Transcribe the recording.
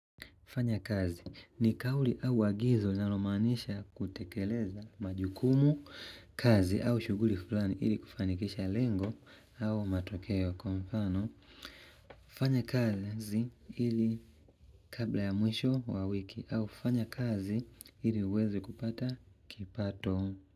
Fanya kazi ni kauli au agizo linalomaanisha kutekeleza majukumu kazi au shughuli fulani ili kufanikisha lengo au matokeo kwa mfano. Fanya kazi ili kabla ya mwisho wa wiki au fanya kazi ili uweze kupata kipato.